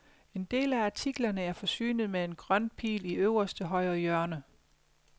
En del af artiklerne er forsynet med en grøn pil i øverste højre hjørne.